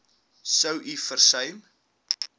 sou u versuim